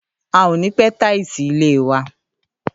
À ò ni pẹ tàísí ìlẹ́ wà